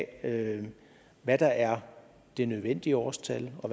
af hvad der er det nødvendige årstal og